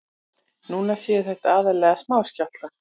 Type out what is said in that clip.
Núna séu þetta aðallega smáskjálftar